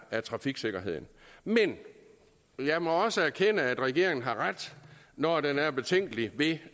af trafiksikkerheden men jeg må også erkende at regeringen har ret når den er betænkelig ved